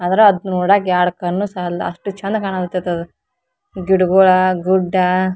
ಅದ್ರ ಅದ್ ನೋಡಾಕ್ ಎರಡ್ ಕಣ್ಣ್ ಸಾಲ್ದು ಅಷ್ಟು ಚಂದ ಕಾಣಕತ್ತದ್ ಅದು ಗಿಡಗಳ ಗುಡ್ಡ --